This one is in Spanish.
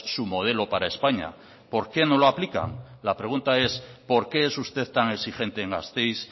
su modelo para españa por qué no lo aplican la pregunta es por qué es usted tan exigente en gasteiz